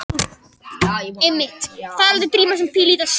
Að henni er ekki lengur kalt.